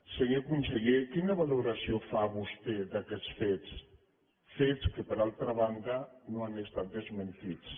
senyor conseller quina valoració fa vostè d’aquests fets fets que per altra banda no han estat desmentits